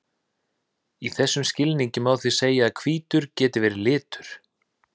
Í þessum skilningi má því segja að hvítur geti verið litur.